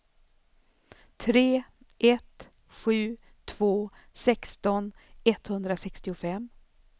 tre ett sju två sexton etthundrasextiofem